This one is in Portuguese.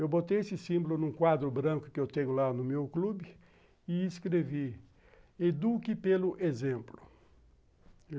Eu botei esse símbolo num quadro branco que eu tenho lá no meu clube e escrevi, Eduque pelo exemplo.